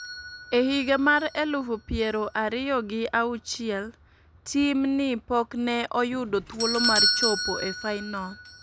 E higa mar elufu piero ariyo gi auchiel, tim ni pok ne oyudo thuolo mar chopo e finol